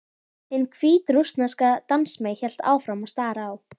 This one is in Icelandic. Hin hvítrússneska dansmey hélt áfram að stara á